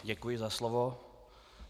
Děkuji za slovo.